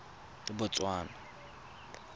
botswana